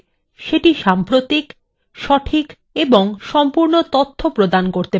সেটি সাম্প্রতিক সঠিক এবং সম্পূর্ণ তথ্য প্রদান করতে পারে